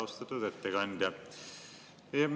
Austatud ettekandja!